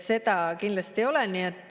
Seda kindlasti ei ole.